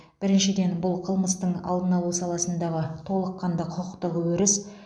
біріншіден бұл қылмыстың алдын алу саласындағы толыққанды құқықтық өріс